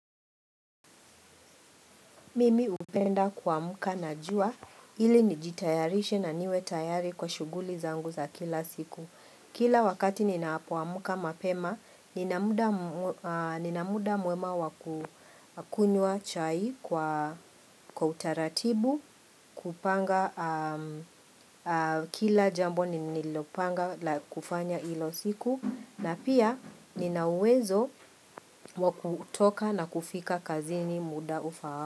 Mimi hupenda kuamka na jua, ili nijitayarishe na niwe tayari kwa shughuli zangu za kila siku. Kila wakati ninapoamka mapema, nina muda mwema wakunywa chai kwa utaratibu, kupanga kila jambo nililopanga kufanya hiyo siku, na pia nina uwezo wakutoka na kufika kazini muda ufaao.